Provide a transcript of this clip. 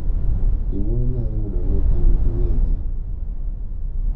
Jonyuol nyalo yudo ni gin giwegi ,